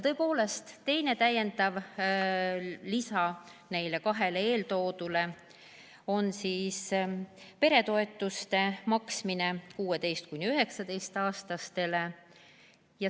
Tõepoolest, lisaks neile kahele eeltoodud muudatusele on muudatus peretoetuste maksmisel 16–19‑aastaste puhul.